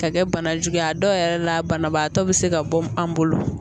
Ka kɛ bana juguya dɔw yɛrɛ la banabaatɔ bɛ se ka bɔ an bolo